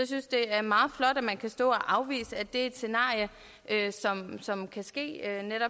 synes det er meget flot at man kan stå og afvise at det er et scenarie som kan ske